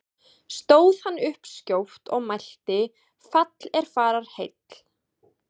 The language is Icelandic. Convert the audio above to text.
Stóð hann upp skjótt og mælti: Fall er fararheill!